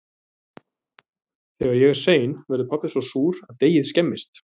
Þegar ég er sein verður pabbi svo súr að deigið skemmist.